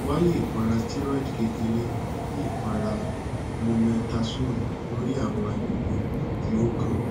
waye ipara steroid kekere bi ipara mometasone lori awọn agbegbe ti o kan